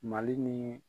Mali ni